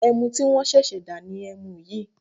Ẹmu tí wọ́n ṣẹ̀ṣẹ̀ dá ni ẹmu yìí